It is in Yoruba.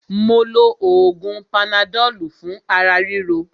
Mó lo oògùn panadọ́lù fún ara ríro.